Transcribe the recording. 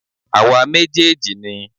Àwa méjèèjì ni